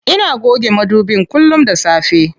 Ina goge madubin kullum da safe.